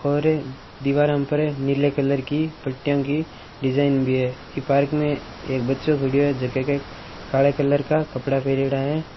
और दीवारें पर नीले कलर की पटिए की डिजाइन भी है ईमे एक बच्चों खड़ो है जकों काले कलर का कपड़ा पर्योडा है।